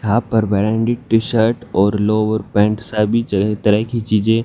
half पर branded T shirt और lower pant सभी तरह तरह की चीजें--